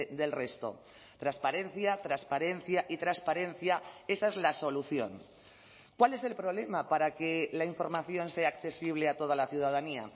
del resto transparencia transparencia y transparencia esa es la solución cuál es el problema para que la información sea accesible a toda la ciudadanía